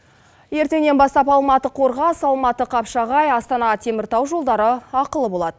ертеңнен бастап алматы қорғас алматы қапшағай астана теміртау жолдары ақылы болады